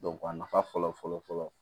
a nafa fɔlɔ fɔlɔ fɔlɔ